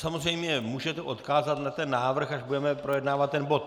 Samozřejmě můžete odkázat na ten návrh, až budeme projednávat ten bod.